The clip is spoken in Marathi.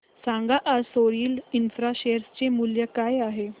सांगा आज सोरिल इंफ्रा शेअर चे मूल्य काय आहे